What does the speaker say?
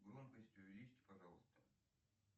громкость увеличьте пожалуйста